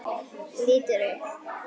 Lítur upp.